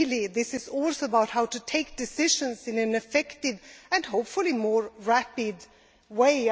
This is also about how to take decisions in an effective and hopefully more rapid way.